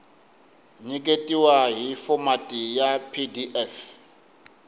nyiketiwa hi fomati ya pdf